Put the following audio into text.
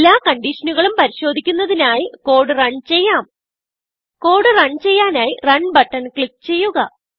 എല്ലാ കൺഡിഷനുകളും പരിശോദിക്കുന്നതിനായി കോഡ് റൺ ചെയ്യാം കോഡ് റൺ ചെയ്യാനായി റണ് ബട്ടൺ ക്ലിക്ക് ചെയ്യുക